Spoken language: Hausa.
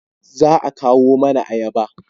Za a kawo mana ayaba